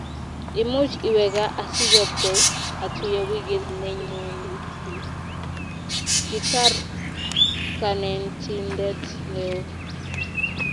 Imuchi iwe gaa asichobkei otuye wikit nenyoni . Kitar Kanentindet neo